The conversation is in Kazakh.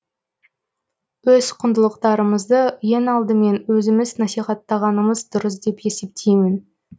өз құндылықтарымызды ең алдымен өзіміз насихаттағанымыз дұрыс деп есептеймін